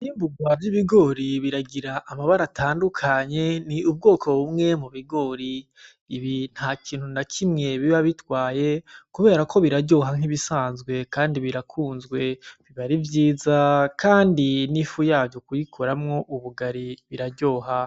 Ivyimburwa vy'ibigori biragira amabara atandukanye, ni ubwoko bumwe mu bigori. Ibi ntakintu na kimwe biba bitwaye kubera ko biraryoha nk'ibisanzwe kandi birakunzwe, biba ari vyiza kandi n'ifu yavyo kuyikoramwo ubugari iraryoha.